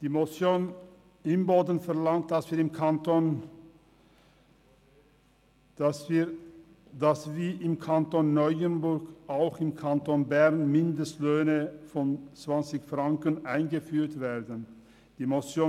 Die Motion Imboden verlangt, dass auch im Kanton Bern Mindestlöhne von 20 Franken eingeführt werden wie im Kanton Neuenburg.